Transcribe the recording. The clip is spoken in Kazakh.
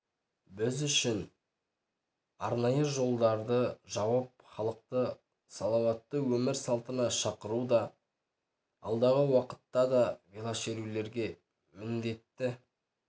біз үшін арнайы жолдарды жауып халықты саламатты өмір салтына шақыруда алдағы уақытта да велошерулерге міндетті